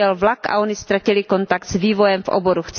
ujel vlak a ony ztratily kontakt s vývojem v oboru.